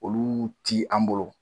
Olu ti an bolo